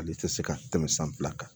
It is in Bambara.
Ale tɛ se ka tɛmɛ san fila kan